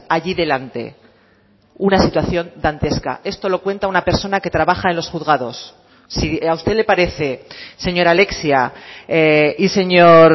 allí delante una situación dantesca esto lo cuenta una persona que trabaja en los juzgados si a usted le parece señora alexia y señor